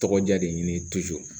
Tɔgɔ diya de ɲini